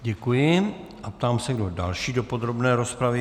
Děkuji a ptám se, kdo další do podrobné rozpravy.